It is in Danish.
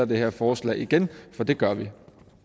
det her forslag igen for det gør vi